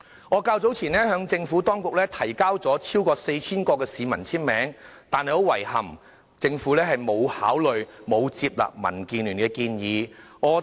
我較早前就此向政府提交了超過 4,000 個市民的簽名，但很遺憾，政府並沒有接納民建聯的建議。